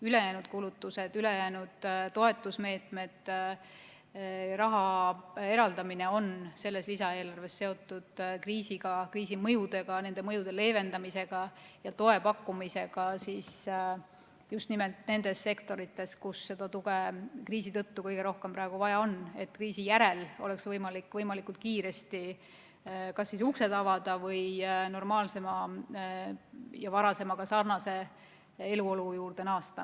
Ülejäänud kulutused, ülejäänud toetusmeetmed, raha eraldamine on selles lisaeelarves seotud kriisiga, kriisi mõjudega, nende mõjude leevendamisega ja toe pakkumisega just nimelt nendes sektorites, kus seda tuge kriisi tõttu kõige rohkem on vaja, et kriisi järel oleks võimalik võimalikult kiiresti uksed avada või normaalsema ja varasemaga sarnase eluolu juurde naasta.